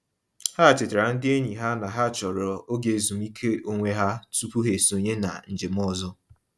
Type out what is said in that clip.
Ha chetara ndị enyi ha na ha chọrọ oge ezumiike onwe ha tụpụ ha esonye na njem ọzọ.